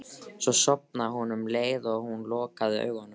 Svo sofnaði hún um leið og hún lokaði augunum.